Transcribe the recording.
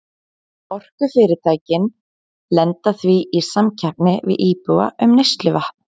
Orkufyrirtækin lenda því í samkeppni við íbúa um neysluvatn.